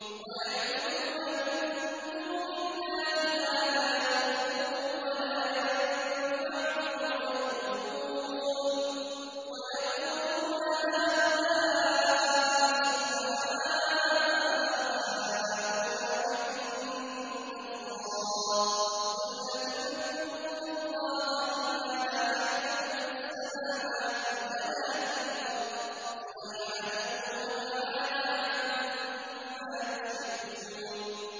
وَيَعْبُدُونَ مِن دُونِ اللَّهِ مَا لَا يَضُرُّهُمْ وَلَا يَنفَعُهُمْ وَيَقُولُونَ هَٰؤُلَاءِ شُفَعَاؤُنَا عِندَ اللَّهِ ۚ قُلْ أَتُنَبِّئُونَ اللَّهَ بِمَا لَا يَعْلَمُ فِي السَّمَاوَاتِ وَلَا فِي الْأَرْضِ ۚ سُبْحَانَهُ وَتَعَالَىٰ عَمَّا يُشْرِكُونَ